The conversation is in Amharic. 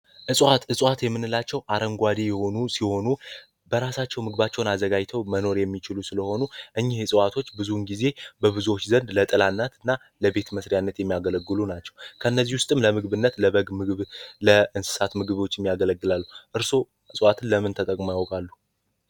እጽዋት የምንላቸው አረንጓዴ የሆኑ ሲሆኑ በራሳቸው ምግባቸውን አዘጋጅተው መኖር የሚችሉ ስለሆኑ ጊዜ በብዙዎች ዘንድ ለጠላት እና ለቤት የሚያገለግሉ ናቸው ምግብ ለእንስሳት ምግቦች የሚያገለግላል ለምን ተጠቅመው ያውቃሉ።